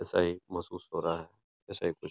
सही महसूस हो रहा है ऐसा ही कुछ --